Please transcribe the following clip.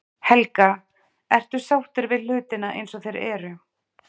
Helga: Ertu sáttur við hlutina eins og þeir eru?